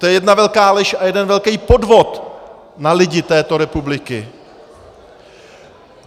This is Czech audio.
To je jedna velká lež a jeden velký podvod na lidi této republiky!